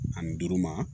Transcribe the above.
Ani duuru ma